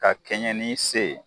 Ka kɛɲɛ ni i se ye